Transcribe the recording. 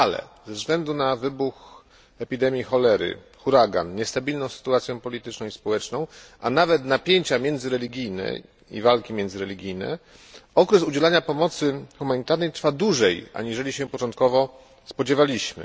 Ale ze względu na wybuch epidemii cholery, huragan, niestabilną sytuację polityczną i społeczną, a nawet napięcia i walki międzyreligijne okres udzielania pomocy humanitarnej trwa dłużej, aniżeli się początkowo spodziewaliśmy.